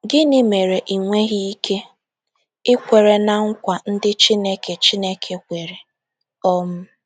Gịnị mere ị nweghị ike ịkwere na nkwa ndị Chineke Chineke kwere? um